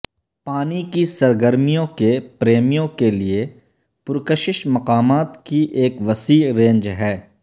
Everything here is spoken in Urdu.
پانی کی سرگرمیوں کے پریمیوں کے لئے پرکشش مقامات کی ایک وسیع رینج ہے